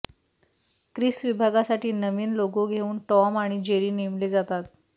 Chris विभागासाठी नवीन logo घेऊन टॉम आणि जेरी नेमले जातात